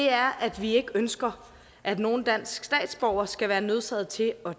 er at vi ikke ønsker at nogen dansk statsborger skal være nødsaget til at